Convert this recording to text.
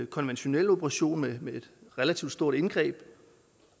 konventionel operation med et relativt stort indgreb